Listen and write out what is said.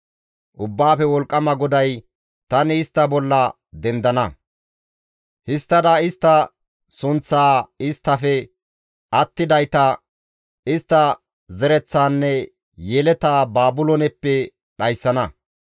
Ubbaafe Wolqqama GODAY, «Tani istta bolla dendana; histtada istta sunththaa, isttafe attidayta, istta zereththaanne yeletaa Baabilooneppe dhayssana.